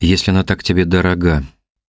если она так тебе дорога